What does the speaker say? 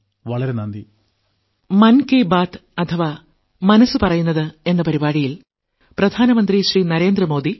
വളരെ നന്ദി